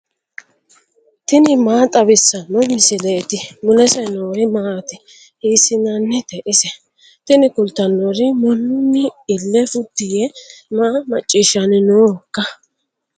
tini maa xawissanno misileeti ? mulese noori maati ? hiissinannite ise ? tini kultannori mannun ille futti yee maa macciishshanni noohoiikka